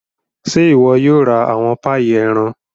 Ṣe iwọ yóò ra awọn paii ẹran?